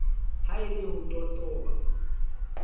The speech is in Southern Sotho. ha e le ho totoba